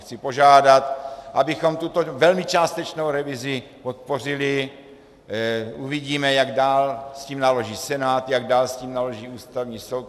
Chci požádat, abychom tuto velmi částečnou revizi podpořili, uvidíme, jak dál s tím naloží Senát, jak dál s tím naloží Ústavní soud.